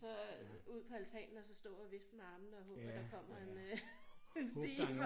Så ud på altanen og så stå og vifte med armene og håbe på der kommer en øh en stige